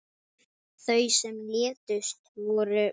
Þau sem létust voru